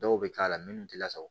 Dɔw bɛ k'a la minnu tɛ lasago